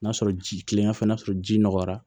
N'a sɔrɔ ji kilennenya fɛnɛ n'a sɔrɔ ji nɔgɔra